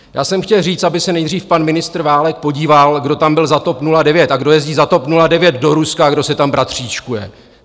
Já jsem chtěl říct, aby se nejdřív pan ministr Válek podíval, kdo tam byl za TOP 09 a kdo jezdí za TOP 09 do Ruska a kdo se tam bratříčkuje!